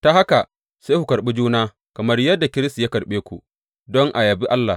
Ta haka sai ku karɓi juna kamar yadda Kiristi ya karɓe ku, don a yabi Allah.